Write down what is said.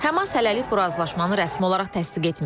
Həmas hələlik bu razılaşmanı rəsmi olaraq təsdiq etməyib.